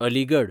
Aligarh